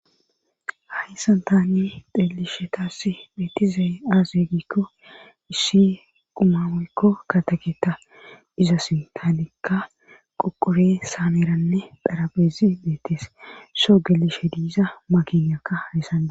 Hayssan tani xellishshe taass beetizey aaze gikko issi qumma woykko kataketa izas tanikka qoqore saaneranne xaraphpheezi beetees soo gelishshe diiza maginkka hayssana